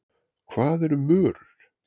Hvað eru mörur?